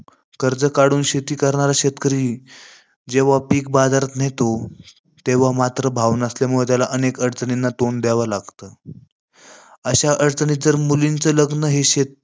कर्ज काढून शेती करणारा शेतकरी, जेव्हा पिक बाजारात नेतो तेव्हा मात्र भाव नसल्यामुळे त्याला अनेक अडचणींना तोंड द्यावे लागते. अशा अडचणीत जर मुलीचं लग्नं हे शेत